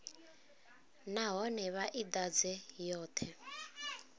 nahone vha i ḓadze yoṱhe